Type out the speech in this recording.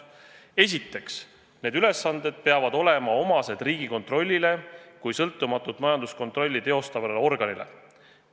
Esiteks, need ülesanded peavad olema omased Riigikontrollile kui sõltumatut majanduskontrolli teostavale organile.